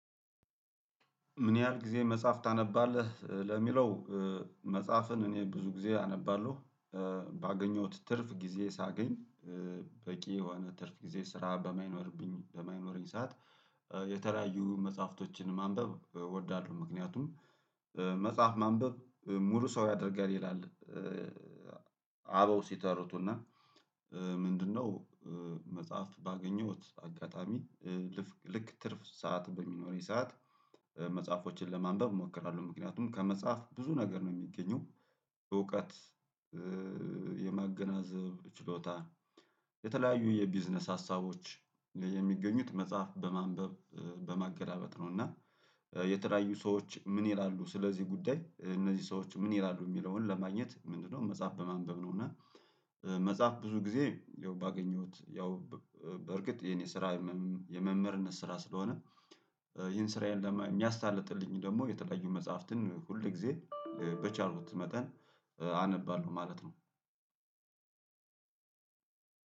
ምን ያህል ጊዜ መጽሐፍ ታነባለህ ለሚለው? መጽሐፍን እኔ ብዙ ጊዜ አነባለሁ። ባገኘሁት ትርፍ ጊዜ ሳገኝ። በቂ የሆነ ትርፍ ጊዜ ስራ በማይኖርብኝ በማይኖረኝ ሰዓት የተለያዩ መጽሐፍቶችን ማንበብ እወዳለሁ። ምክንያቱም መጽሐፍ ማንበብ ሙሉ ሰው ያደርጋል ይላል። አበው ሲተረቱና ምንድነው? መጽሐፍ ባገኘሁት አጋጣሚ ልክ ትርፍ ሰዓት በሚኖረኝ ሰዓት። መጽሐፎቶችን ለማንበብ እሞክራለሁ ምክንያቱም ከመጽሐፍ ብዙ ነገር ነው የሚገኙ። እውቀት። የማገናዘብ ችሎታ። የተለያዩ የቢዝነስ ሀሳቦች የሚገኙት መጽሐፍ በማንበብ በማገላበጥ ነው። እና የተለያዩ ሰዎች ምን ይላሉ ስለዚህ ጉዳይ እነዚህ ሰዎች ምን ይላሉ የሚለውን ለማግኘት ምንድነው? መጽሐፍ በማንበብ ነው። እና መጽሐፍ ብዙ ጊዜ ያው ባገኘሁት ያው በእርግጥ የኔ ስራ የመምህርነት ስራ ስለሆነ። ይሄን ስራ የሚያስታልጥልኝ ደግሞ የተለያዩ መጽሐፍትን ሁል ጊዜ በቻልኩት መጠን አነባለሁ ማለት ነው።